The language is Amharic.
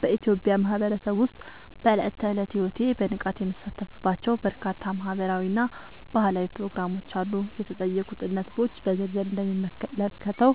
በኢትዮጵያ ማህበረሰብ ውስጥ በዕለት ተዕለት ሕይወቴ በንቃት የምሳተፍባቸው በርካታ ማህበራዊ እና ባህላዊ ፕሮግራሞች አሉ። የተጠየቁትን ነጥቦች በዝርዝር እንደሚከተለው